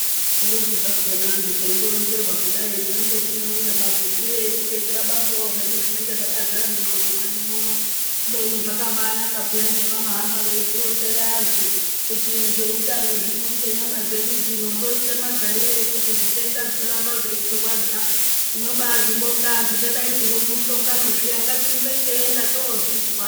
Kundoti zvakhona antu teindoronzerwa kudai tinenge tine umwe mafungire edu teithabangawo zvedu zvinenge zvakadzara mundxondo mwedu muno kubeni zvakabanaka peyani zvevanohamba veitironzera antu kuti zveutano zvino ngenyama dzedu dzino tinoita magarirei kuti zvitenda zvisaramba zveitirwadza. Tinobazvibonga antu tadaidzirwa kumuhlongano zviya ngatirumbe teienda tozvizwa.